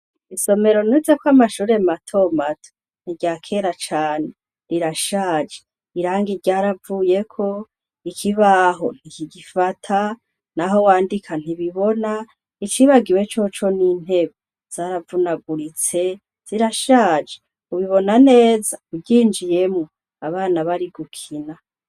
Isomero nizeko amashure matomato ni irya kera cane rirashaje irangi ryaravuyeko, ikibaho ntikigifata, naho wandika ntibibona icibagiwe coco ni intebe zaravunaguritse zirashaje ubibona neza uryinjiyemwo abana bari gukina.